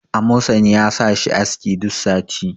amosani ya sa shi aski duk sati